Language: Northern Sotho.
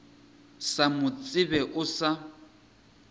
sa mo tsebe o sa